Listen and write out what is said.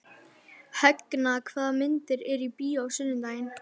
Högna, hvaða myndir eru í bíó á sunnudaginn?